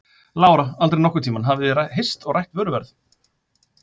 Lára: Aldrei nokkurn tíman, þið hafið ekki hist og rætt vöruverð?